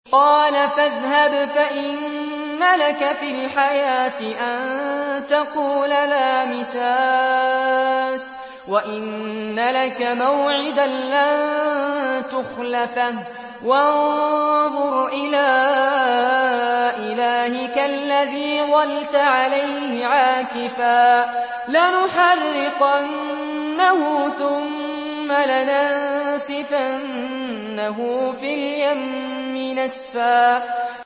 قَالَ فَاذْهَبْ فَإِنَّ لَكَ فِي الْحَيَاةِ أَن تَقُولَ لَا مِسَاسَ ۖ وَإِنَّ لَكَ مَوْعِدًا لَّن تُخْلَفَهُ ۖ وَانظُرْ إِلَىٰ إِلَٰهِكَ الَّذِي ظَلْتَ عَلَيْهِ عَاكِفًا ۖ لَّنُحَرِّقَنَّهُ ثُمَّ لَنَنسِفَنَّهُ فِي الْيَمِّ نَسْفًا